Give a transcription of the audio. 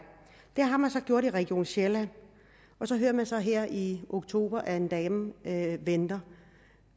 det har man gjort i region sjælland og så hører vi så her i oktober at en dame venter